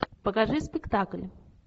покажи спектакль